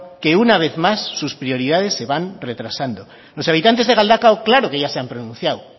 que una vez más sus prioridades se van retrasando los habitantes de galdakao claro que ya se han pronunciado